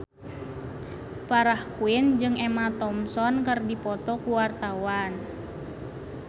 Farah Quinn jeung Emma Thompson keur dipoto ku wartawan